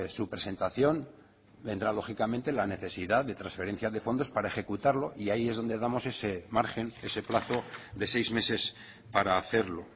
su presentación vendrá lógicamente la necesidad de transferencia de fondos para ejecutarlo y ahí es donde damos ese margen ese plazo de seis meses para hacerlo